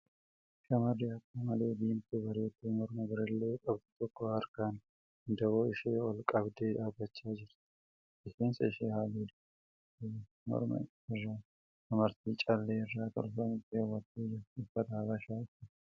Shamarri akka malee diimtuu bareeddu morma birillee qabdu tokko harkaan wandaboo ishee ol qabdee dhaabbachaa jirti. Rifeensa ishee halluu diimaa dibattee jirti. Morma irraa amartii callee irraa tolfame keewwattee jirti. Uffata Habashaa uffatti.